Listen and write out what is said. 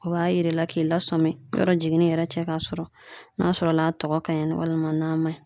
O b'a yir'i la k'i lasɔmin yɔrɔ jigini yɛrɛ cɛ kasɔrɔ n'a sɔrɔla a tɔgɔ ka ɲi nɔ walima n'a ma ɲi.